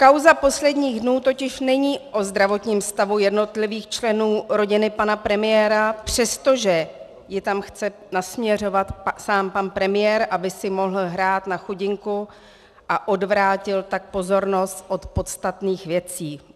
Kauza posledních dnů totiž není o zdravotním stavu jednotlivých členů rodiny pana premiéra, přestože ji tam chce nasměřovat sám pan premiér, aby si mohl hrát na chudinku a odvrátil tak pozornost od podstatných věcí.